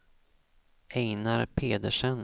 Einar Pedersen